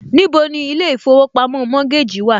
Níbo ni ilé ìfowópamọ́ Mortgage wà?